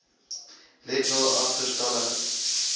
let wel agterstallige